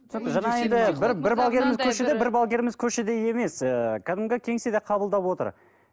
жаңа енді бір бір балгеріміз көшеде бір балгеріміз көшеде емес ііі кәдімгі кеңседе қабылдап отыр